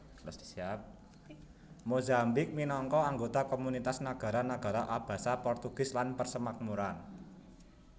Mozambik minangka anggota Komunitas Nagara Nagara Abasa Portugis lan Persemakmuran